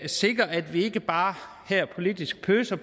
sikrer at vi ikke bare her politisk pøser